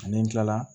Ni n kilala